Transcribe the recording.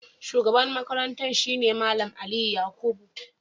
Shugaban Makarantar shi ne Mallam Aliyu Yakubu.